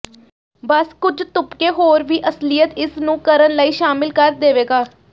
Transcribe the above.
ਬਸ ਕੁਝ ਤੁਪਕੇ ਹੋਰ ਵੀ ਅਸਲੀਅਤ ਇਸ ਨੂੰ ਕਰਨ ਲਈ ਸ਼ਾਮਿਲ ਕਰ ਦੇਵੇਗਾ